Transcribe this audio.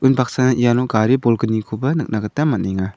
bunbaksana iano gari bolgnikoba nikna gita man·enga.